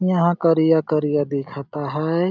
यहाँ करिया -करिया दिखत अहाय।